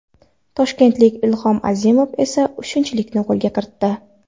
Toshkentlik Ilhom Azimov esa uchinchilikni qo‘lga kiritdi.